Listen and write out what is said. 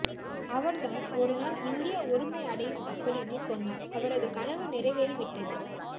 அவர்தான் ஒருநாள் இந்தியா ஒருமை அடையும் அப்படின்னு சொன்னார் அவரது கனவு நிறைவேறி விட்டது